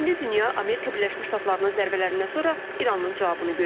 İndi dünya Amerika Birləşmiş Ştatlarının zərbələrindən sonra İranın cavabını gözləyir.